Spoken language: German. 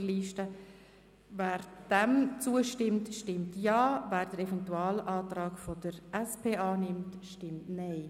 Wer diesem Absatz zustimmt, stimmt Ja, wer den Eventualantrag der SPJUSO-PSA annimmt, stimmt Nein.